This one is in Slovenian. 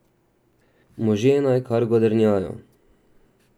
Možje naj kar godrnjajo.